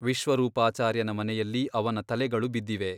ವಿಶ್ವರೂಪಾಚಾರ್ಯನ ಮನೆಯಲ್ಲಿ ಅವನ ತಲೆಗಳು ಬಿದ್ದಿವೆ.